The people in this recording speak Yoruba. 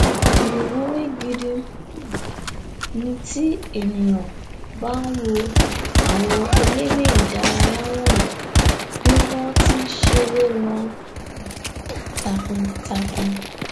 ìwúrí gidi um ni tí ènìà bá nwo àwọn eléré ìdárayá wọnyí bí wọn ti nṣeré wọn um takuntakun